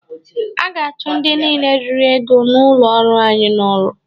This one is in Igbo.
A ga-achụ ndị niile riri ego n'ụlọ ọrụ anyị n'ọrụ.